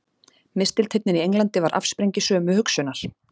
Mistilteinninn í Englandi var afsprengi sömu hugsunar.